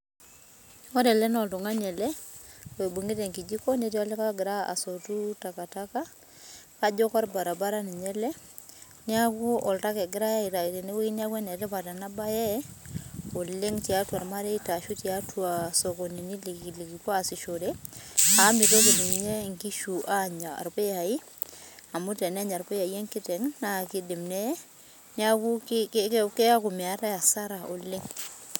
Ore ele naa oltung'ani oibungita enkijiko netii olikae ogira asotu takataka kajo ninye orbaraba ele neeku oltaka egirai aitau tenewueji neeku enetipat ena mbae oleng tiatua irmareita ashu tiatua sokonini likipuo asishore amu mitoki enkishu Anya irpuyai amu tena irpuyai enkiteng naa kidim neye keeku meetae asara oleng